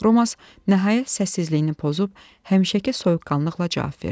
Romas nəhayət səssizliyini pozub həmişəki soyuqqanlıqla cavab verdi: